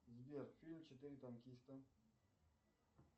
сбер фильм четыре танкиста